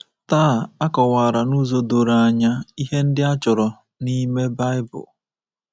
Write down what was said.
Taa a kọwara n’ụzọ doro anya ihe ndị ọ chọrọ n’ime Baịbụl.